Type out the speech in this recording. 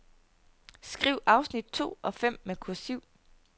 Skriv afsnit to og fem med kursiv.